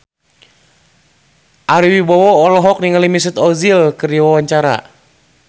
Ari Wibowo olohok ningali Mesut Ozil keur diwawancara